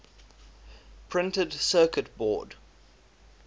printed circuit board